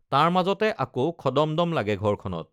তাৰ মাজতে আকৌ খদমদম লাগে ঘৰখনত